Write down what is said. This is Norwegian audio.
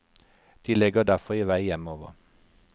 De legger derfor i vei hjemover.